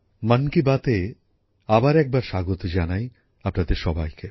মন কি বাতে আবার একবার স্বাগত জানাই আপনাদের সবাইকে